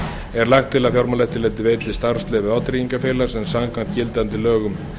er lagt til að fjármálaeftirlitið veiti starfsleyfi vátryggingafélags en samkvæmt gildandi lögum